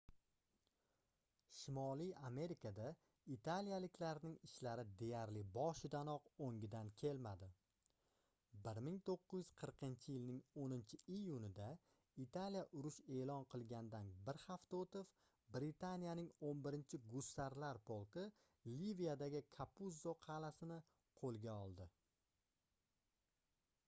shimoliy amerikada italiyaliklarning ishlari deyarli boshidanoq oʻngidan kelmadi 1940-yilning 10-iyunida italiya urush eʼlon qilgandan bir hafta oʻtib britaniyaning 11-gussarlar polki liviyadagi kapuzzo qalʼasini qoʻlga oldi